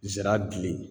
Nsɛrɛ